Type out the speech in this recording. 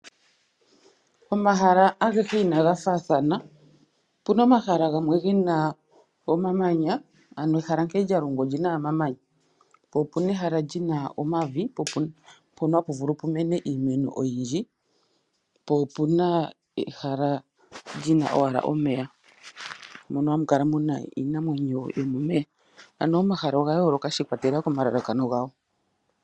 Omahala agehe inaga faathana. Opu na omahala ge na omamanya, ano ehala nkene lya longwa oli na owala omamanya. Po opu n aehala li na omavi mpono hapu vulu pu mene iimeno oyindji, po opu na ehala li na owala omeya mono hamu kala mu na iinamwenyo yomomeya. Ano omahala oga yooloka shi ikwatelela komalalakano gago.